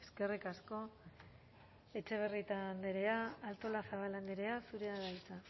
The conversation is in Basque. eskerrik asko etxebarrieta andrea artolazabal andrea zurea da hitza